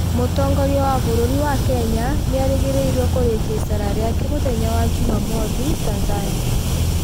Mũtongoria wa bũrũri wa Kenya nĩerĩgĩrĩrwo kũrĩkia icera riake mũthenya wa jumamothi Tanzania.